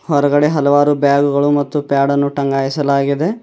ಹೊರಗಡೆ ಹಲವಾರು ಬ್ಯಾಗುಗಳು ಮತ್ತು ಪ್ಯಾಡ್ ಅನ್ನು ಟಂಗಾಯಿಸಲಾಗಿದೆ.